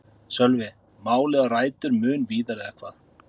Sölvi: Málið á rætur mun víðar eða hvað?